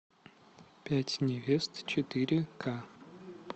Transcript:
пять невест четыре к